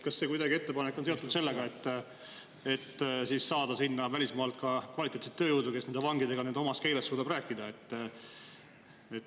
Kas see ettepanek on kuidagi seotud sellega, et siis saada sinna välismaalt ka kvaliteetset tööjõudu, kes nende vangidega nende omas keeles suudab rääkida?